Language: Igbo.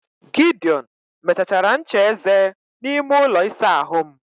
Gideon mechachara ncha eze n'ime ụlọ ịsa ahụ m.